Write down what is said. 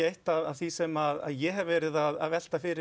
eitt af því sem ég hef verið að velta fyrir